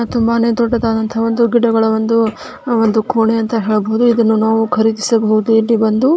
ತುಂಬಾನೇ ದೊಡ್ಡ್ಡದಾದಂತಹ ಒಂದು ಗಿಡಗಳ ಒಂದು ಅಹ್ ಒಂದು ಕೊಣೆ ಅಂತ ಹೇಳ್ಬೋದು ಇದನ್ನು ನಾವು ಖರೀದಿಸಬಹುದು ಇಲ್ಲಿ ಬಂದು.